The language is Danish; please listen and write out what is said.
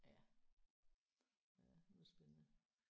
Ja. Ja nu er det spændende